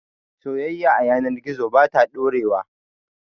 Soyayya a yanar gizo ba ta ɗorewa